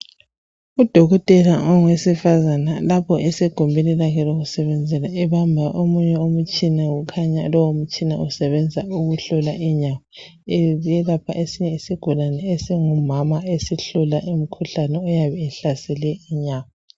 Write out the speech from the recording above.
Udokotela owesifazane lapho esegumbini lakhe lokusebenzela ebamba omunye umtshina ,ukhanya lowo mtshina usebenza ukuhlola inyama. Eyelapha esinye isigulane esingumama esihlola umkhuhlane oyabe uhlasele inyama.